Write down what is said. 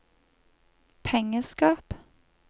pengeskap